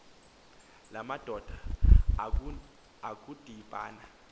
la madoda akudibana